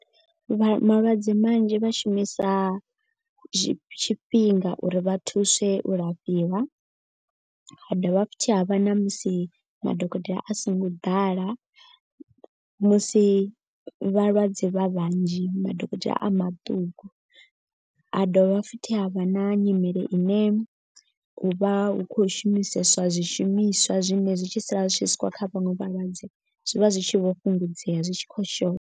Vha malwadze manzhi vha shumisa tshifhe tshifhinga uri vha thuswe u lafhiwa. Ha dovha ha futhi havha na musi madokotela a songo ḓala musi vhalwadze vha vhanzhi madokotela a maṱuku. Ha dovha futhi ha vha na nyimele ine u vha hu khou shumiseswa zwishumiswa. Zwine zwi tshi sala zwi tshi swikwa kha vhaṅwe vhalwadze zwivha zwi tshi vho fhungudzea zwi tshi khou shotha.